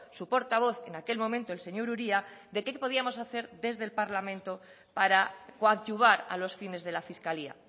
su portavoz en aquel momento el señor uria de qué podíamos hacer desde el parlamento para coadyuvar a los fines de la fiscalía